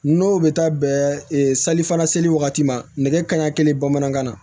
N'o bɛ taa bɛn sali fana seli wagati ma nɛgɛ kanɲɛ kelen bamanankan na